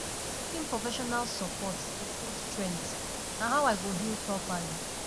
seeking professional support dey show strength na how i go heal properly